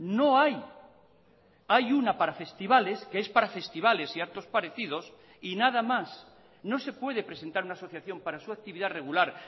no hay hay una para festivales que es para festivales y actos parecidos y nada más no se puede presentar una asociación para su actividad regular